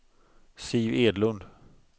Siv Edlund